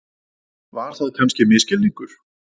Var það kannski misskilningur?